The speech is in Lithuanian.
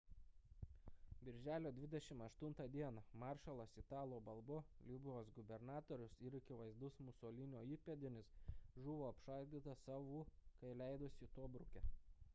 birželio 28 d maršalas italo balbo libijos gubernatorius ir akivaizdus musolinio įpėdinis žuvo apšaudytas savų kai leidosi tobruke